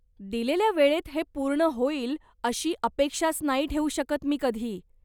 दिलेल्या वेळेत हे पूर्ण होईल अशी अपेक्षाच नाही ठेवू शकत मी कधी.